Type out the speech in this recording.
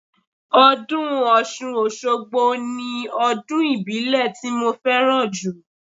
Ọdún Ọ̀ṣun Òṣogbo ni ọdún ìbílẹ̀ ti mo fẹ́ràn jù